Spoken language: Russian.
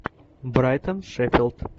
брайтон шеффилд